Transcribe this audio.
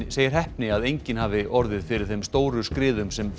segir heppni að enginn hafi orðið fyrir þeim stóru skriðum sem